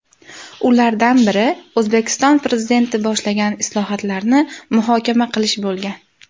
Ulardan biri O‘zbekiston Prezidenti boshlagan islohotlarni muhokama qilish bo‘lgan.